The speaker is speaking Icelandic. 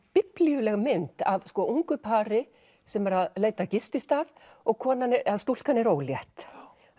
biblíuleg mynd af ungu pari sem er að leita að gististað og stúlkan er ólétt